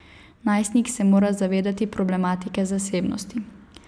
Najstnik se mora zavedati problematike zasebnosti.